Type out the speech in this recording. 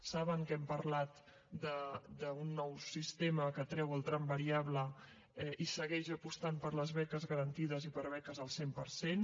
saben que hem parlat d’un nou sistema que treu el tram variable i segueix apostant per les beques garantides i per beques al cent per cent